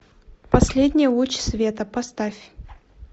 последний луч света поставь